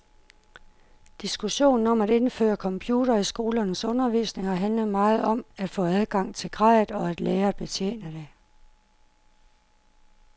Diskussionen om at indføre computere i skolernes undervisning har handlet meget om at få adgang til grejet og at lære at betjene det.